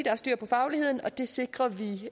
have styr på fagligheden og det sikrer vi